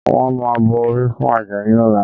Wọ́n máa bọ orí fún Àjàyí lọ́la